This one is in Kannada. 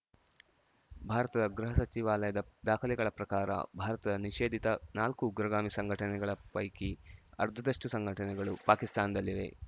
ಭಾರತದ ಗೃಹ ಸಚಿವಾಲಯದ ದಾಖಲೆಗಳ ಪ್ರಕಾರ ಭಾರತ ನಿಷೇಧಿತ ನಾಲ್ಕು ಉಗ್ರಗಾಮಿ ಸಂಘಟನೆಗಳ ಪೈಕಿ ಅರ್ಧದಷ್ಟುಸಂಘಟನೆಗಳು ಪಾಕಿಸ್ತಾನದಲ್ಲಿವೆ